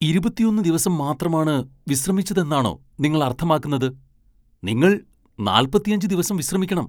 ഇരുപത്തിയൊന്ന് ദിവസം മാത്രമാണ് വിശ്രമിച്ചതെന്നാണോ നിങ്ങൾ അർത്ഥമാക്കുന്നത് ? നിങ്ങൾ നാൽപ്പത്തിയഞ്ച് ദിവസം വിശ്രമിക്കണം.